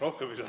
Rohkem ei saa.